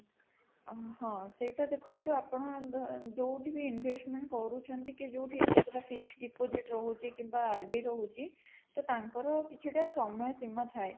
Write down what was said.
ଅଂ ହଁ ସେଟା ଦେଖନ୍ତୁ ଆପଣ ଆଗ ଯୋଉଠି ବି investment କରୁଛନ୍ତି କି ଯୋଉଠି fix deposit ରହୁଛି କିମ୍ବା RD ରହୁଛି ତ ତାଙ୍କର କିଛିଟା ସମୟ ସୀମା ଥାଏ